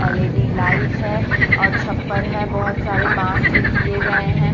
L E D light है और छप्पर है बहोत सारे बांस से किए गए हैं।